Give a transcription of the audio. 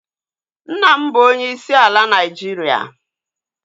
Nna m bụ onyeisi ala Naịjiria